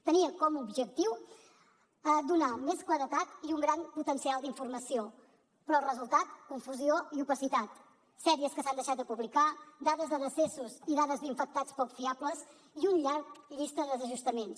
tenia com a objectiu donar més claredat i un gran potencial d’informació però el resultat confusió i opacitat sèries que s’han deixat de publicar dades de decessos i dades d’infectats poc fiables i una llarga llista de desajustaments